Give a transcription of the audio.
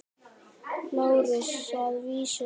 LÁRUS: Að vísu ekki.